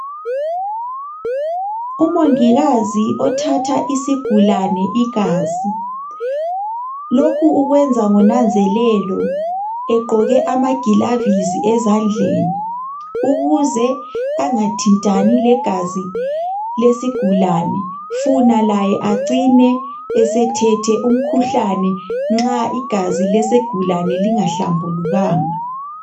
Umongikazi othatha isigulane igazi. Lokhu ukwenza ngonanzelelo egqoke amagilavisi ezandleni ukuze engathintani legazi lesigulane, funa laye acine esethethe umkhuhlane nxa igazi lesigulane lingahlambulukanga.